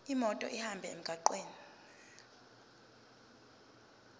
imoto ihambe emgwaqweni